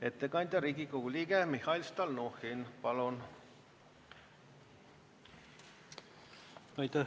Ettekandja Riigikogu liige Mihhail Stalnuhhin, palun!